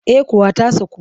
Eh kuwa ta saku